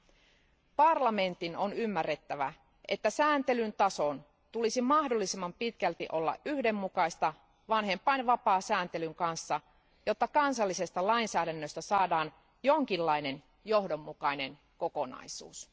Euroopan parlamentin on ymmärrettävä, että sääntelyn tason tulisi mahdollisimman pitkälti olla yhdenmukaista vanhempainvapaasääntelyn kanssa, jotta kansallisesta lainsäädännöstä saadaan jonkinlainen johdonmukainen kokonaisuus.